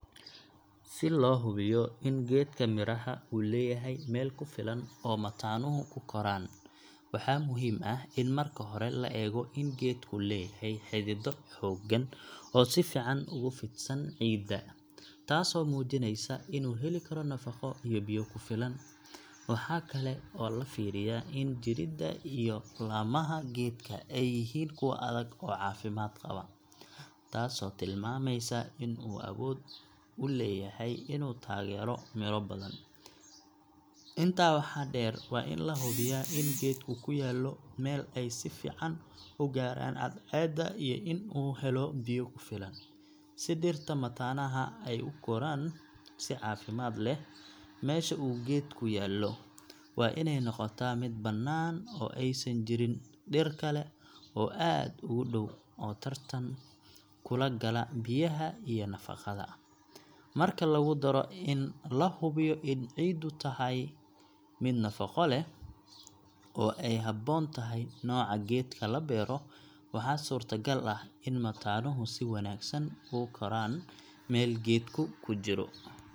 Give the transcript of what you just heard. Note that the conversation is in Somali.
Si loo hubiyo in geedka miraha uu leeyahay meel ku filan oo mataanuhu ku koraan, waxaa muhiim ah in marka hore la eego in geedku leeyahay xididdo xooggan oo si fiican ugu fidsan ciidda, taasoo muujinaysa inuu heli karo nafaqo iyo biyo ku filan. Waxaa kale oo la fiiriyaa in jirida iyo laamaha geedka ay yihiin kuwo adag oo caafimaad qaba, taasoo tilmaamaysa in uu awood u leeyahay inuu taageero miro badan. Intaa waxaa dheer, waa in la hubiyaa in geedku ku yaallo meel ay si fiican u gaaraan cadceedda iyo in uu helo biyo ku filan, si dhirta mataanaha ah ay ugu koraan si caafimaad leh. Meesha uu geedku yaallo waa inay noqotaa mid bannaan oo aysan jirin dhir kale oo aad ugu dhow oo tartan kula gala biyaha iyo nafaqada. Marka lagu daro in la hubiyo in ciiddu tahay mid nafaqo leh oo ay habboon tahay nooca geedka la beero, waxaa suurtagal ah in mataanuhu si wanaagsan ugu koraan meel geedku ku jiro.